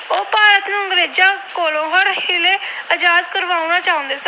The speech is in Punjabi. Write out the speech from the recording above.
ਆਜਾਦ ਕਰਵਾਉਣਾ ਚਾਹੁੰਦੇ ਸਨ।